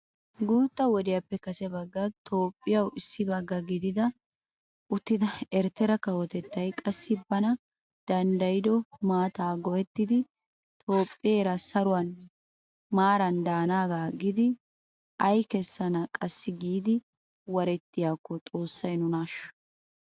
Guutta wodiyappe kase baggan toophphiyawu issi bagga gida uttida Ertera kawotettay qassi bana danddayido maataa go'ettidi toophpheera saruwan maaran danaagaa aggidi ay keessana qassi giid warettiyakko xoossay nuna ashsho!!